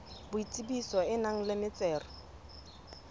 boitsebiso e nang le metsero